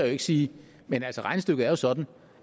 ikke sige men regnestykket er sådan